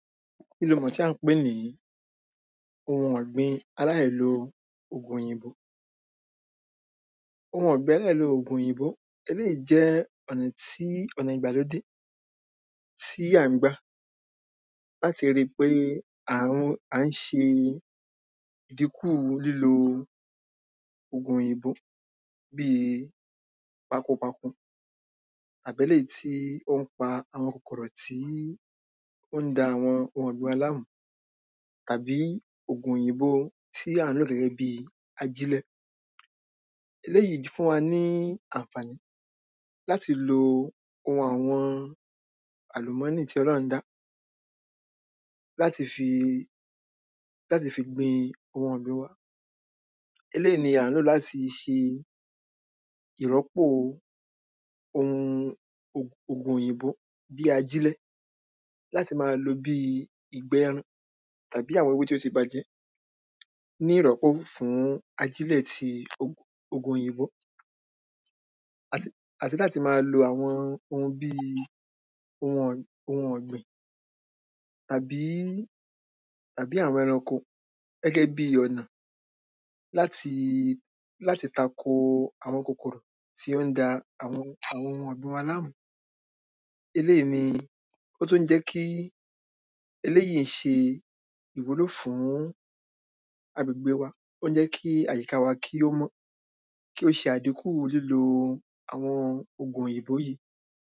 Kí lo mọ̀ tí à ń pè ní ohun ọ̀gbìn aláìlo ògùn òyìnbó. Ohun ọ̀gbìn aláìlo ògùn òyìnbó, eléí jẹ́ ọ̀nà tí ọ̀nà ìgbàlódé tí à ń gbà láti ri pé à ń se ìdínkù lílo ògùn òyìnbó. Bíi pakopako àbéléyí tí ó ń pa àwọn kòkòrò tí ó ń da àwọn ohun ọ̀gbìn wa láàmú. Tàbí ògùn òyìnbo tí à ń lò gẹ́gẹ́ bí ajílẹ̀. Eléyí fún wa ní ànfàní lamti lo ohun àwọn àlùmọ́nì tí O̩lọ́rún dá fí láti fi gbin ohun ọ̀gbìn wa. Eléí ni à ń lò láti fi se ìrọ́pò ohun ògùn òyìnbó bí ajílẹ̀. Láti má a lo bíi ìgbẹ́ ẹran tàbí àwọn ewé tí ó ti bàjẹ́ ní ìrọ́pò fún ajílẹ̀ ti òg ògùn òyìnbó. Àt àti láti ma lo àwọn ohun bíi ohun ọ̀ ohun ọ̀gbìn. Àbí àbí àwọn ẹranko gẹ́gẹ́ bi ọ̀nà látí láti tako àwọn kòkòrò tí ó ń da àwọn àwọn ohun ọ̀gbìn wa lámú. Eléì ní ó tún ń jẹ́ kí eléyí se ìwúlò fún agbègbè wa. Ó ń jẹ́ kí àyíká wa kí ó mọ́. Tó ń se àdínkù fún àwọn ògùn òyìnbó yí.